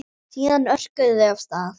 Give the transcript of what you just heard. Síðan örkuðu þau af stað.